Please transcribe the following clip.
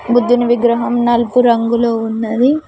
బుద్ధిని విగ్రహం నలుపు రంగులో ఉన్నది.